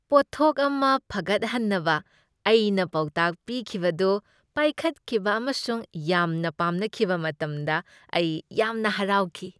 ꯄꯣꯠꯊꯣꯛ ꯑꯃ ꯐꯒꯠꯍꯟꯅꯕ ꯑꯩꯅ ꯄꯥꯎꯇꯥꯛ ꯄꯤꯈꯤꯕꯗꯨ ꯄꯥꯏꯈꯠꯈꯤꯕ ꯑꯃꯁꯨꯡ ꯌꯥꯝꯅ ꯄꯥꯝꯅꯈꯤꯕ ꯃꯇꯝꯇ ꯑꯩ ꯌꯥꯝꯅ ꯍꯔꯥꯎꯈꯤ꯫